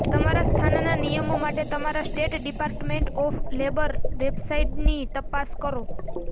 તમારા સ્થાનના નિયમો માટે તમારા સ્ટેટ ડિપાર્ટમેન્ટ ઑફ લેબર વેબસાઇટની તપાસ કરો